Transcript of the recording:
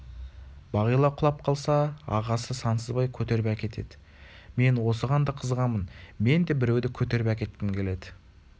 бағила құлап қалса ағасы сансызбай көтеріп әкетеді мен осыған да қызығамын мен де біреуді көтеріп әкеткім келеді